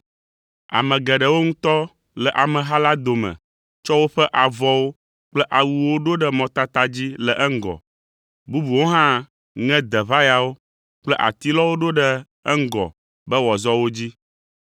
Ame geɖewo ŋutɔ le ameha la dome tsɔ woƒe avɔwo kple awuwo ɖo ɖe mɔtata dzi le eŋgɔ; bubuwo hã ŋe deʋayawo kple atilɔwo ɖo ɖe eŋgɔ be wòazɔ wo dzi.